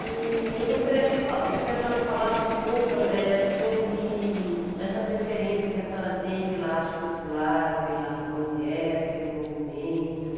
E eu gostaria de fa que a senhora falasse um pouco ãh eh sobre essa preferência que a senhora tem pela arte popular, pela mulher, pelo movimento.